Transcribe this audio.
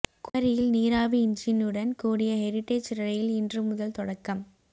குமரியில் நீராவி என்ஜினுடன் கூடிய ஹெரிடேஜ் ரெயில் இன்று முதல் தொடக்கம்